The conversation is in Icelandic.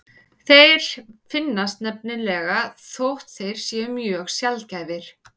Þeir finnast nefnilega líka þótt þeir séu mjög sjaldgæfir.